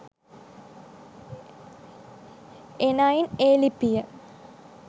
එනයින් ඒ ලිපිය